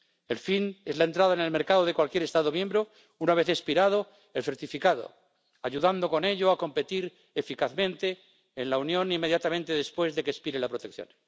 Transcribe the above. El fin es la entrada en el mercado de cualquier Estado miembro, una vez expirado el certificado, ayudando con ello a competir eficazmente en la Unión inmediatamente después de que expire la protección.